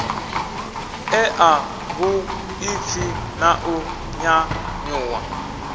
ṋea vhuḓipfi na u nyanyuwa